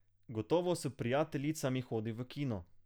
Gotovo s prijateljicami hodi v kino.